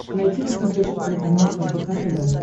найти на смотрешке телеканал рбк тв